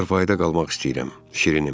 Çarpayda qalmaq istəyirəm, şirinim.